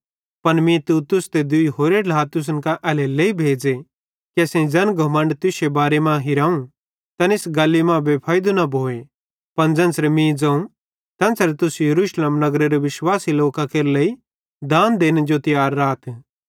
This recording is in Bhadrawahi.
पन मीं तीतुस ते दूई होरे ढ्ला तुसन कां एल्हेरेलेइ भेज़े कि असेईं ज़ैन घमण्ड तुश्शे बारे मां हिराव तैन इस गल्ली मां बेफैइदे न भोए पन ज़ेन्च़रे मीं ज़ोवं तेन्च़रे तुस यरूशलेम नगरेरे विश्वासी लोकां केरे लेइ दान देने जो तियार राथ